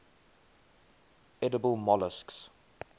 edible molluscs